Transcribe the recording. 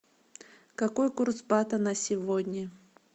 какой курс бата на сегодня